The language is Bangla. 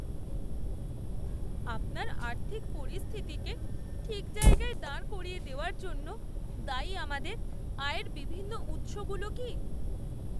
আপনার আর্থিক পরিস্থিতিকে ঠিক জায়গায় দাঁড় করিয়ে দেওয়ার জন্য দায়ী আমাদের আয়ের বিভিন্ন উৎসগুলো কি?